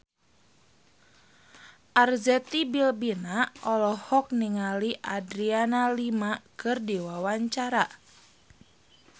Arzetti Bilbina olohok ningali Adriana Lima keur diwawancara